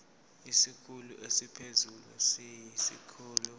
isikhulu esiphezulu siyisikhulu